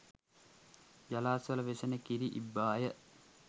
ජලාශවල වෙසෙන කිරි ඉබ්බාය